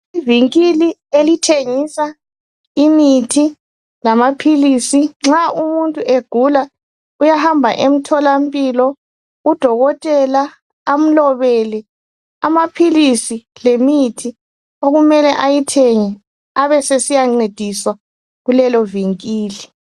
ivinkili elithengisa umuthi lamaphilisi nxa umuntu egula ubohamba emtholampilo udokotela amlobele amaphilisi lemithi okume besiyancediswa kulelo vinkili